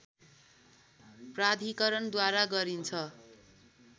प्राधिकरणद्वारा गरिन्छ